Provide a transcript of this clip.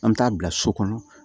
An bɛ taa bila so kɔnɔ